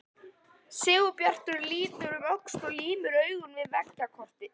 Sigurbjartur lítur um öxl og límir augun við veggjakrotið.